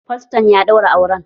Faston ya ɗaura auran